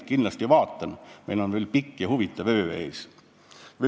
Ma kindlasti vaatan seda, meil on ees pikk ja huvitav öö.